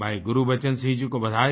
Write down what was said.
भाई गुरबचन सिंह जी को बधाई